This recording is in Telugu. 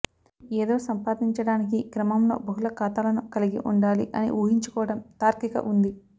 ఇది ఏదో సంపాదించడానికి క్రమంలో బహుళ ఖాతాలను కలిగి ఉండాలి అని ఊహించుకోవటం తార్కిక ఉంది